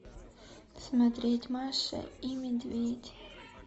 смотреть маша и медведь